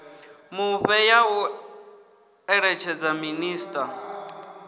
mufhe ya u eletshedza minisiṱa